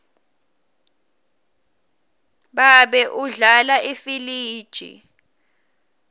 babe udlala ifiliji